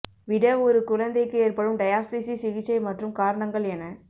விட ஒரு குழந்தைக்கு ஏற்படும் டயாஸ்தீசிஸ் சிகிச்சை மற்றும் காரணங்கள் எனக்